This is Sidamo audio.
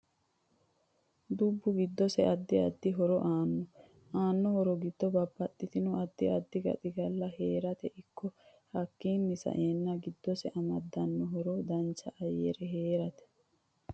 Dubbu giddosi addi addi horo aanno aano horo giddo babbaxitino addi addi gaxigalla heerate ikko hakiini sa'enno giddosi amadanno horo dancha ayyare heerate